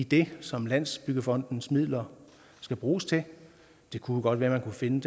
det som landsbyggefondens midler skal bruges til det kunne godt være man kunne finde